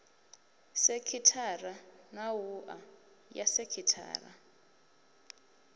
sekhithara na wua ya sekhithara